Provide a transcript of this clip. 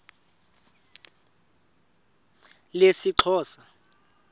lesixhosa